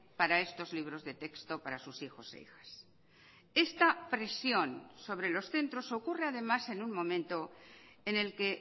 para estos libros de texto para sus hijos e hijas esta presión sobre los centros ocurre además en un momento en el que